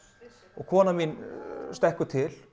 og konan mín stekkur til